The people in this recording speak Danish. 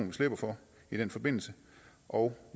vi slipper for i den forbindelse og